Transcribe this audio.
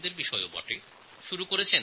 তাঁরা অপারেশন মলযুদ্ধ শুরু করেছেন